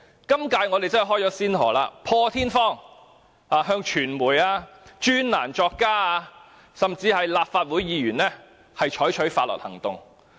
今屆政府真是開了先河，破天荒向傳媒、專欄作家甚至立法會議員採取法律行動。